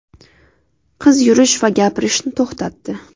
Qiz yurish va gapirishni to‘xtatdi.